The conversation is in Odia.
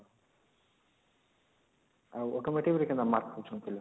ଆଉ automotive ରେ କେନ୍ତା mark ରଖୁଛନ୍ତି ପିଲା